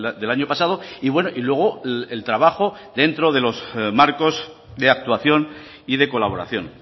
del año pasado y bueno y luego el trabajo dentro de los marcos de actuación y de colaboración